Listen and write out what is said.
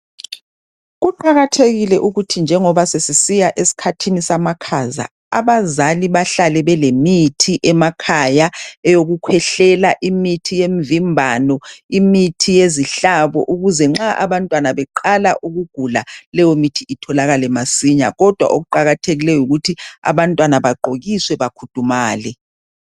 Kuqakathekile ukuthi njengoba sesiya esikhathini samakhaza abazali bahlale belemithi emakhaya eyokukhwehlela, imithi yemvimbano, imithi yezihlabo ukuze nxa abantwana beqala ukugula leyo imithi itholakale masinya, kodwa okuqakathekikeyo yikuthi abantwana bagqokiswe bakhudumale.